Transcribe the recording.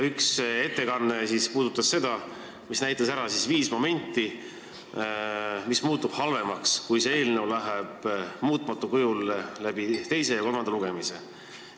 Üks ettekanne näitas ära viis momenti, mis muutub halvemaks, kui see eelnõu läbib muutmata kujul teise ja kolmanda lugemise.